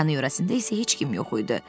Yanı-yörəsində isə heç kim yox idi.